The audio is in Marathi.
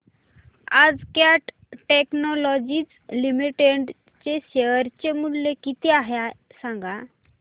आज कॅट टेक्नोलॉजीज लिमिटेड चे शेअर चे मूल्य किती आहे सांगा